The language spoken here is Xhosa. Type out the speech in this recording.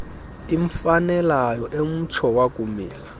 imfanelayo emtsho wakumila